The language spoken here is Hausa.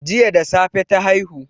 Jiya da safe ta haihu